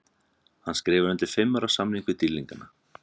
Hann skrifar undir fimm ára samning við dýrlingana.